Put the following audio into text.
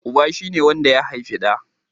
Uba shi ne wanda ya haifi ɗa